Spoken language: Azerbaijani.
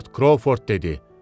Lord Krovford dedi: